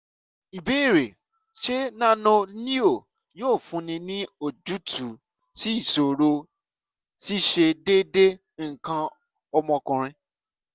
ìbéèrè: ṣé cs] nano-leo yóò fúnni ní ojútùú sí ìṣòro ṣíṣe déédéé nǹkan ọmọkùnrin?